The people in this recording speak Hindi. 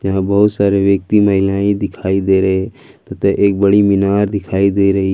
या सारे व्यक्ति महिलाएं दिखाई दे रहे तथा एक बड़ी मीनार दिखाई दे रही--